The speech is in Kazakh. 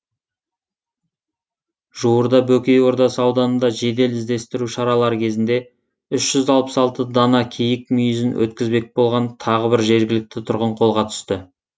жуырда бөкей ордасы ауданында жедел іздестіру шаралары кезінде үш жүз алпыс алты дана киік мүйізін өткізбек болған тағы бір жергілікті тұрғын қолға түсті